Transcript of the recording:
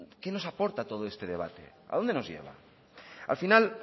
qué nos aporta todo este debate a dónde nos lleva al final